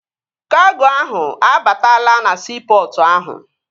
Kago ahụ abatala na siipọtụ ahụ